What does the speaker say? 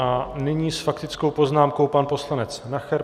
A nyní s faktickou poznámkou pan poslanec Nacher.